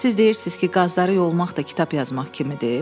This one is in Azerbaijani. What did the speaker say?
Siz deyirsiz ki, qazları yolmaq da kitab yazmaq kimidir.